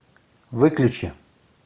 выключи